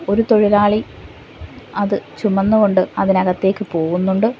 ഒരു തൊഴിലാളി അത് ചുമന്ന് കൊണ്ട് അതിനകത്തേക്ക് പോവുന്നുണ്ട്.